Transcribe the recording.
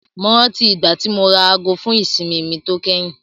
Mo rántí ìgbà tí mo ra aago fún ìsinmi mi tó kẹ́yìn.